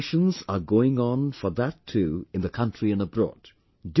Preparations are going on for that too in the country and abroad